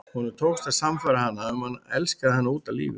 Honum tókst að sannfæra hana um að hann elskaði hana út af lífinu.